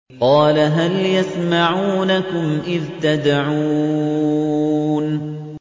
قَالَ هَلْ يَسْمَعُونَكُمْ إِذْ تَدْعُونَ